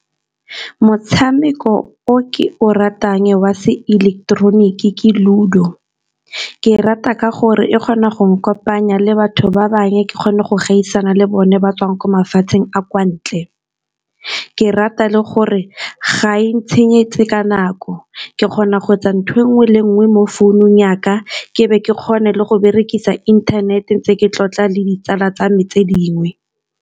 Motshameko o ke o ratang wa se ileketeroniki ke ludo, ke o rata ka gore e kgona go ne kopanya le batho ba bangwe, ke kgone go gaisana le bone ba tswang kwa mafatsheng a kwa ntle. Ke rata le gore ga e ntshenyetse ka nako, ke kgona go etsa nthweo e nngwe le nngwe mo founung yaka. Ke be ke kgone le go berekisa inthanete, ntse ke tlotla le ditsala tsa me tse dingwe.